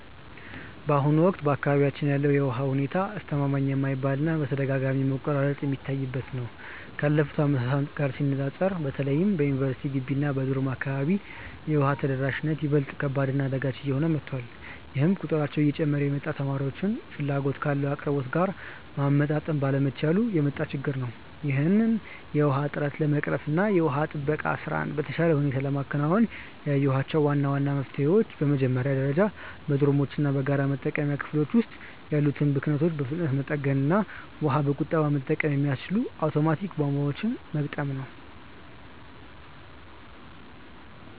በአሁኑ ወቅት በአካባቢያችን ያለው የውሃ ሁኔታ አስተማማኝ የማይባል እና በተደጋጋሚ መቆራረጥ የሚታይበት ነው። ካለፉት ዓመታት ጋር ሲነፃፀር በተለይም በዩኒቨርሲቲ ግቢ እና በዶርም አካባቢ የውሃ ተደራሽነት ይበልጥ ከባድ እና አዳጋች እየሆነ መጥቷል፤ ይህም ቁጥራቸው እየጨመረ የመጣውን ተማሪዎች ፍላጎት ካለው አቅርቦት ጋር ማመጣጠን ባለመቻሉ የመጣ ችግር ነው። ይህንን የውሃ እጥረት ለመቅረፍ እና የውሃ ጥበቃ ስራን በተሻለ ሁኔታ ለማከናወን ያየኋቸው ዋና ዋና መፍትሄዎች በመጀመሪያ ደረጃ በዶርሞች እና በጋራ መጠቀሚያ ክፍሎች ውስጥ ያሉትን ብክነቶች በፍጥነት መጠገን እና ውሃን በቁጠባ መጠቀም የሚያስችሉ አውቶማቲክ ቧንቧዎችን መግጠም ነው።